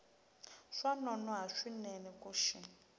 swa nonoha swinene ku xi